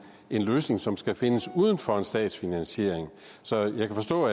en løsning som skal findes uden for en statsfinansiering så jeg kan forstå